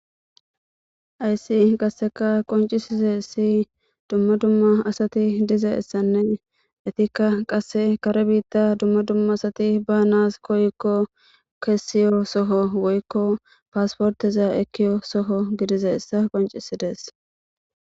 Hayiss qasekka qonccisizayiss dumma dumma asati dizayisanne ettikka qase kare bita dumma dumma asati banas koyiko kesiyo Soo woyikko pasporteza ekkiza Soho gididayissa qonccissides.